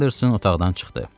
Anderson otaqdan çıxdı.